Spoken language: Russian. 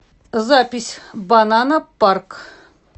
запись банана парк